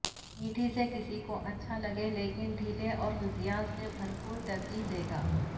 مٹی سے کسی کو اچھا لگے لیکن ڈھیلے اور غذائیت سے بھرپور ترجیح دیں گے